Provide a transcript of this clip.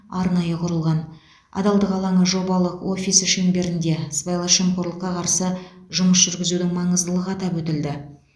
арнайы құрылған адалдық алаңы жобалық офисі шеңберінде сыбайлас жемқорлыққа қарсы жұмыс жүргізудің маңыздылығы атап өтілді